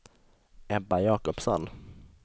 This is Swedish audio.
Ebba Jacobsson